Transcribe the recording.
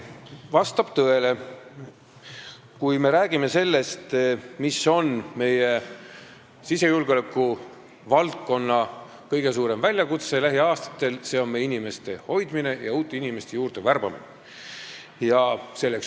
Vastab tõele, et kui me räägime sellest, mis on lähiaastatel meie sisejulgeolekuvaldkonna kõige suurem väljakutse, siis see on meie inimeste hoidmine ja uute inimeste värbamine.